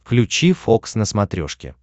включи фокс на смотрешке